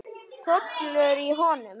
Hrollur í honum.